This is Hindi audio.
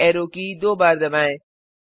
यूपी ऐरो की दो बार दबाएं